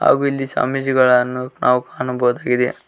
ಹಾಗು ಇಲ್ಲಿ ಸ್ವಾಮೀಜಿಗಳನ್ನು ನಾವು ಕಾಣಬಹುದಾಗಿದೆ.